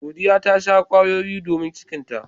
Godiya ta sha kwayoyi domin cikinta.